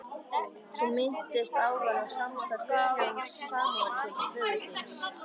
Þú minntist áðan á samstarf Guðjóns Samúelssonar og föður þíns.